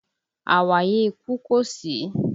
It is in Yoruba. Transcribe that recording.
Àwáyé ikú kò sí